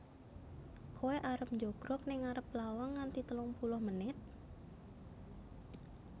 Koe arep njogrog ning arep lawang nganti telung puluh menit?